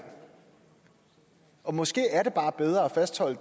måske er det bare bedre at fastholde